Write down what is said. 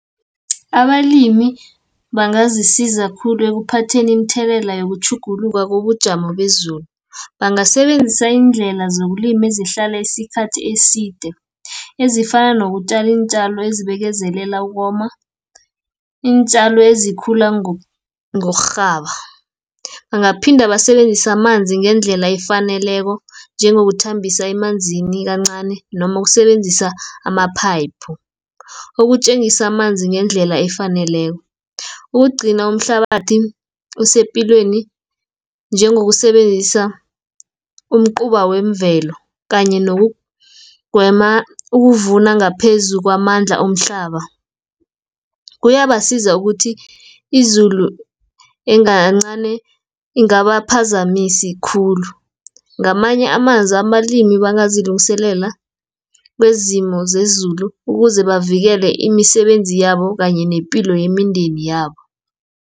Abalimi, bangazisiza khulu ekuphatheni imithelela yokutjhuguluka kobujamo bezulu. Bangasebenzisa iindlela zokulima ezihlala isikhathi eside, ezifana nokutjala iintjalo ezibekezelela ukoma, iintjalo ezikhula ngokurhaba. Bangaphinda basebenzisa amanzi ngendlela efaneleko, njengokuthambisa emanzini kancani, noma ukusebenzisa amaphayiphu. Ukutjengisa amanzi ngendlela efaneleko, ukugcina umhlabathi esepilweni, njengokusebenzisa umcuba wemvelo, kanye nokugweba ukuvuna ngaphezu kwamandla omhlaba. Kuyabasiza ukuthi izulu ingaba phazamisi khulu, ngamanye amazwi amalimi bangazilungiselela kwezimo zezulu ukuze bavikele imisebenzi yabo, kanye nepilo yemindeni yabo.